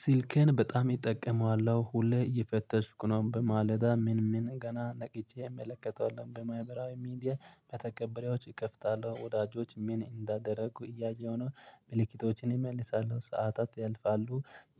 ሲልኬን በጣም እጠቀመዋለሁ። ሁሌ እየፈተሽኩ ነው በማለዳ ምን ምን ገና ነቅቼ እመለከተዋለሁ። በማህበራዊ ሚዲያ በተቀበሪዎች እከፍታለሁ። ወዳጆች ምን እንዳደረጉ እያየሁ ነው። መልእክቶችን እመልሳሉ። ሰዓታት ያልፋሉ።